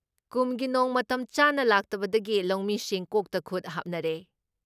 ꯀꯨꯝꯒꯤ ꯅꯣꯡ ꯃꯇꯝ ꯆꯥꯅ ꯂꯥꯛꯇꯕꯗꯒꯤ ꯂꯧꯃꯤꯁꯤꯡ ꯀꯣꯛꯇ ꯈꯨꯠ ꯍꯥꯞꯅꯔꯦ ꯫